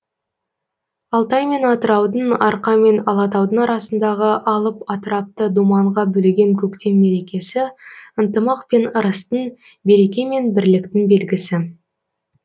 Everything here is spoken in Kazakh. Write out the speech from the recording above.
алтай мен атыраудың арқа мен алатаудың арасындағы алып атырапты думанға бөлеген көктем мерекесі ынтымақ пен ырыстың береке мен бірліктің белгісі